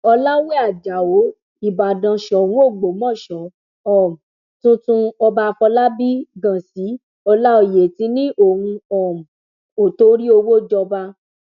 ọlàwé ajáò ìbàdàn sóun ògbómọṣọ um tuntun ọba àfọlábí ghansi ọláòyè ti ní ohun um ó torí owó jọba